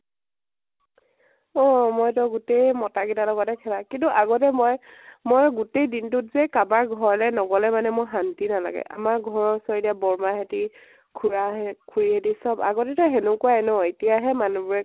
অ অ মইতো গোটেই মতা গিতাৰ লগতে খেলা। কিন্তু আগতে মই, মই গোতেই দিনটোত যে কাবাৰ ঘৰলৈ নগলে মানে মোৰ শান্তি নালাগে। আমাৰ ঘৰৰ উচৰত এতিয়া বৰমাহ হেতি, খুড়া হেত, খুড়ি হেতি চব। আগতেতো হেনেকুৱাই ন? এতিয়াহে মানুহ বোৰে